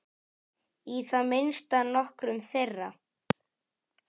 Í það minnsta nokkrum þeirra.